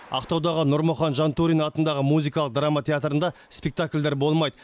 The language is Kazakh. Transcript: ақтаудағы нұрмұхан жантөрин атындағы музыкалық драма театрында спектакльдер болмайды